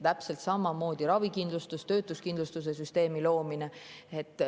Täpselt samamoodi ravikindlustus, töötuskindlustuse süsteemi loomine.